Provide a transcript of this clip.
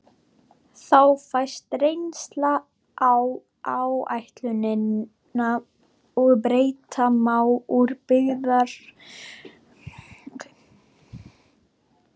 Þá fæst reynsla á áætlunina og bæta má úr byrjunarörðugleikum.